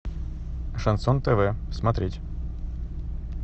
шансон тв смотреть